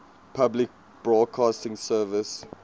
public broadcasting service